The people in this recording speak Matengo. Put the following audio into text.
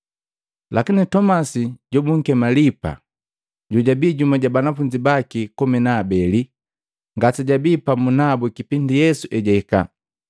Lakini Tomasi, jobunkema, “Lipaa,” Jojabii jumu ja banafunzi baki komi na abeli, ngasejabii pamu nabu kipindi Yesu ejahika.